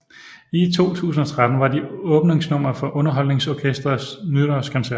I 2013 var de åbningsnummer for UnderholdningsOrkestrets Nytårskoncert